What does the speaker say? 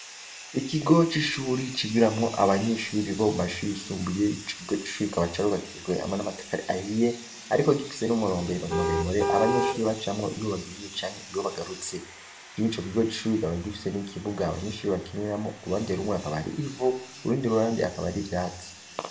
Ikigo c'ishure cigiramwo abanyeshure bo mu mashure yisumbuye, ico kigo c'ishure kikaba carubakishijwe hamwe n'amatafari ahiye ariko gifise n'umurombero muremure abanyeshure bacamwo iyo bagiye canke iyo bagarutse. Muri ico kigo c'ishure kikaba gifise n'ikibuga abanyeshure bakiniramwo, uruhande rumwe hakaba hari ivu, urundi ruhande akaba ari ivyatsi.